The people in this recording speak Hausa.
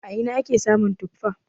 A ina ne ake samun tuffa?